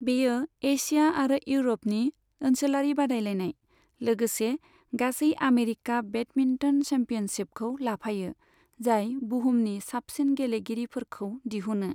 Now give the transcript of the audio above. बेयो एशिया आरो इउर'पनि ओनसोलारि बादायलायनाय, लोगोसे गासै आमेरिका बेडमिन्टन चेम्पियनशिपखौ लाफायो, जाय बुहुमनि साबसिन गेलेगिरिफोरखौ दिहुनो।